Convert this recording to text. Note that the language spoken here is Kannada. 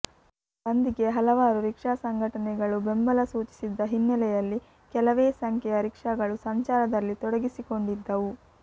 ಬಂದ್ಗೆ ಹಲವಾರು ರಿಕ್ಷಾ ಸಂಘಟನೆಗಳು ಬೆಂಬಲ ಸೂಚಿಸಿದ್ದ ಹಿನ್ನೆಲೆಯಲ್ಲಿ ಕೆಲವೇ ಸಂಖ್ಯೆಯ ರಿಕ್ಷಾಗಳು ಸಂಚಾರದಲ್ಲಿ ತೊಡಗಿಸಿಕೊಂಡಿದ್ದವು